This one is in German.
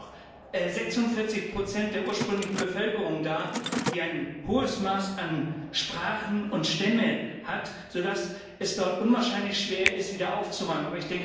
Es sind nur noch 46 der ursprünglichen Bevölkerung da, die ein hohes Maß an Sprachen und Stämmen hat, so dass es dort unwahrscheinlich schwer ist, wieder aufzuräumen.